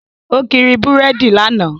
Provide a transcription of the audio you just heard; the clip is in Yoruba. Ó kiri búrèdì lánàá